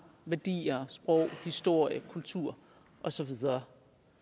værdier sprog historie kultur og så videre